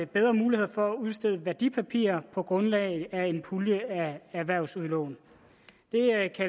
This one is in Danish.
bedre muligheder for at udstede værdipapirer på grundlag af en pulje af erhvervsudlån